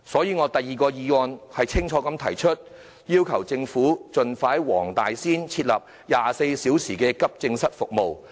因此，我在議案的第二點清楚要求政府盡快在黃大仙區設立24小時急症室服務。